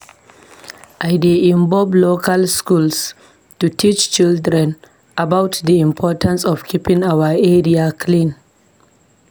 I dey involve local schools to teach children about di importance of keeping our area clean.